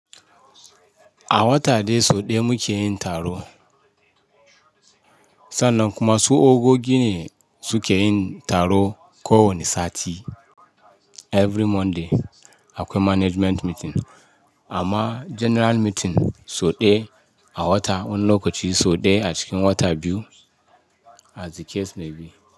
A wata dai so daya muke yin taro. Sannan kuma su Ogogi ne suke yin taro ko wane sati. Every Monday akwai management meeting. Amma general meeting soɗe a wata, wani lokaci soɗe a cikin wata biyu as the case may be.